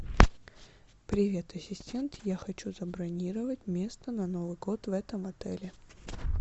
привет ассистент я хочу забронировать место на новый год в этом отеле